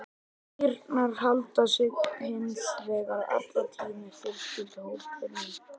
Kýrnar halda sig hins vegar alla tíð með fjölskylduhópnum.